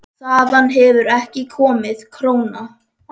Þaðan hefur ekki komið króna.